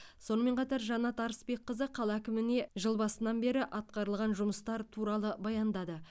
сонымен қатар жанат арысбекқызы қала әкіміне жыл басынан бері атқарылған жұмыстар туралы баяндады